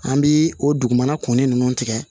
An bi o dugumana kunnin ninnu tigɛ